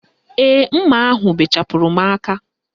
Ee, mma ahụ bechapụrụ m aka